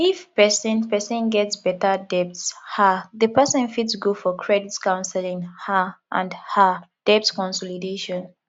if person person get better debt um di person fit go for credit councelling um and um debt consolidation